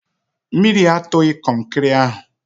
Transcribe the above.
Mmiri atụghị kọnkịrị ahụ